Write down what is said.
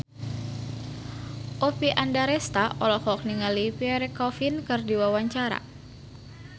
Oppie Andaresta olohok ningali Pierre Coffin keur diwawancara